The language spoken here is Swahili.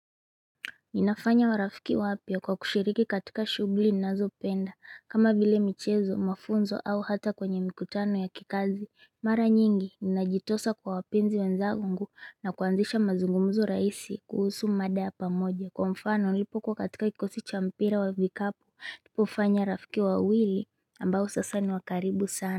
Ninafanya warafiki wapya kwa kushiriki katika shughuli ninazipenda kama vile michezo mafunzo au hata kwenye mikutano ya kikazi mara nyingi ninajitosa kwa wapenzi wenzaungu. Na kuanzisha mazungumzu rahisi kuhusu mada ya pamoja. Kwa mfano nilipokuwa katika kikosi cha mpira wa vikapo nilipofanya rafiki wawili ambao sasa ni wa karibu sana.